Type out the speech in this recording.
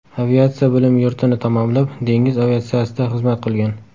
Aviatsiya bilim yurtini tamomlab, dengiz aviatsiyasida xizmat qilgan.